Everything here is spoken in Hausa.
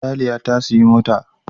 Raliya ta siyi mota